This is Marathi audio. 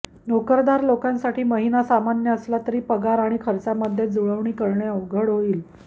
नोकरदार लोकांसाठी महिना सामान्य असला तरी पगार आणि खर्चामध्ये जुळवणी करणे अवघड होईल